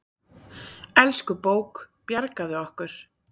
Elsku bók, bjargaðu okkur.